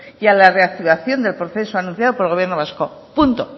y a la reactivación del proceso anunciado por el gobierno vasco punto